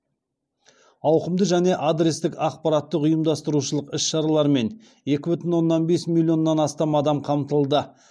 ауқымды және адрестік ақпараттық ұйымдастырушылық іс шаралармен екі бүтін оннан бес миллионнан астам адам қамтылды